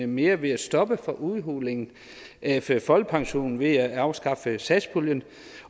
mere ved at stoppe for udhulingen af folkepensionen ved at afskaffe satspuljen